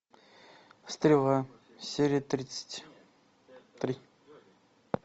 стрела серия тридцать три